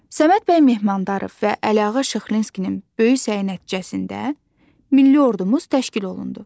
Səməd bəy Mehmandarov və Əliağa Şıxlinskinin böyük səyi nəticəsində milli ordumuz təşkil olundu.